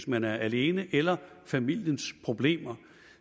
man er alene eller af familiens problemer